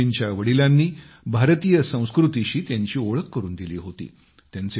सेदूजींच्या वडिलांनी भारतीय संस्कृतीशी त्यांची ओळख करून दिली होती